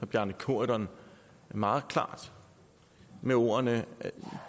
bjarne corydon meget klart med ordene